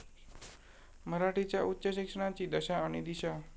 मराठीच्या उच्च शिक्षणाची दशा आणि दिशा